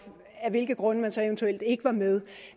af hvilke grunde man så eventuelt ikke var med